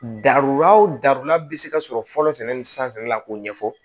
Darula o dara bɛ se ka sɔrɔ fɔlɔ sɛnɛ ni san sɛnɛla k'o ɲɛfɔ